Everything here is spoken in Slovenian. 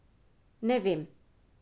Ne vem.